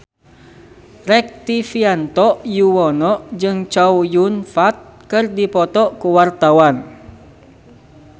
Rektivianto Yoewono jeung Chow Yun Fat keur dipoto ku wartawan